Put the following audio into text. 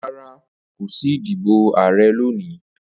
Rara, ko si idibo ààrẹ loni.